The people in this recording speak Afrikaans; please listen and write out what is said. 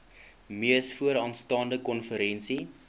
mees vooraanstaande konferensie